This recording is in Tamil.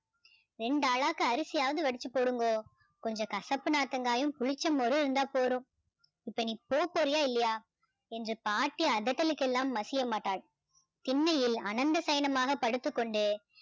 ரெண்டு அலக்கு அரிசியாவது வடிச்சு போடுங்கோ கொஞ்சம் கசப்பு நாத்தங்காயும் புளிச்ச மோரும் இருந்தா போடும் இப்போ நீ போப்போறியா இல்லையா என்று பாட்டி அதட்டலுக்கு எல்லாம் மசியமாட்டாள் திண்ணையில் அனந்த ஸைனமாக படுத்துக்கொண்டு